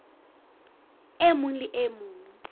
e mong le e mong